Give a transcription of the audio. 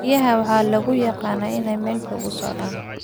Riyaha waxa lagu yaqaanaa in ay meel fog u socdaan.